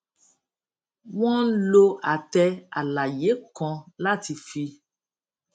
wọn ń lo àtẹ àlàyé kan láti fi